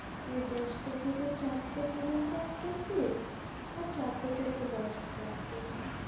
ওই দশটা থেকে চারটে পর্যন্ত একটা shift আর চারটে থেকে দশটা একটা shift